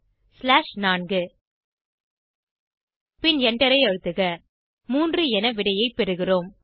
slash 4 பின் எண்டரை அழுத்துக 3 என விடையை பெறுகிறோம்